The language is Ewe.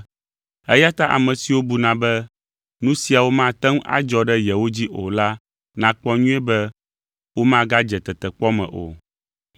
Eya ta ame siwo buna be nu siawo mate ŋu adzɔ ɖe yewo dzi o la nakpɔ nyuie be womagadze tetekpɔ me o.